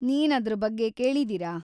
ನೀನ್‌ ಅದ್ರ ಬಗ್ಗೆ ಕೇಳಿದೀರಾ?